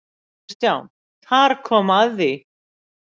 KRISTJÁN: Þar kom að því!